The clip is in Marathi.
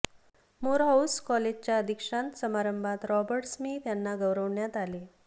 मोरहाऊस कॉलेजच्या दीक्षांत समारंभात रॉबर्ट स्मिथ यांना गौरवण्यात आले